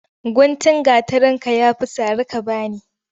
Guntun gatarinka ya fi sari ka ba ni.